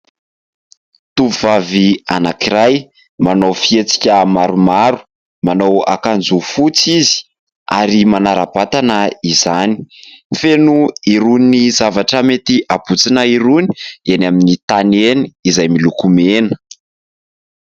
Tovovavy anankiray, manao fietsika maromaro, manao akanjo fotsy izy ary manara-batana izany. Feno irony zavatra mety habotsina irony eny amin'ny tany eny izay miloko mena.